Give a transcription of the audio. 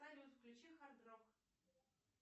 салют включи хард рок